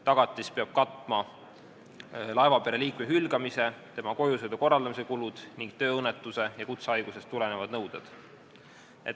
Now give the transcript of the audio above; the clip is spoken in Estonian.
Tagatis peab katma kulud laevapere liikme hülgamise korral ja tema kojusõidu korraldamise kulud ning tööõnnetusest ja kutsehaigusest tulenevaid nõudeid.